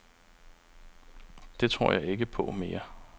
Det tror jeg ikke på mere.